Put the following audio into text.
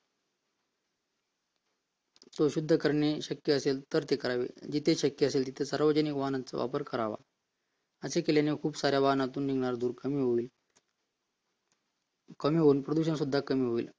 तो शुद्ध करणे शक्य असेल तर करावे जिथे शक्य असेल तिथे सार्वजनिक वाहतुकांचा वापर करावा असे केल्याने खूप सारा वाहनातून निघणारा धूर कमी होईल कमी होऊन प्रदूषण सुद्धा कमी होईल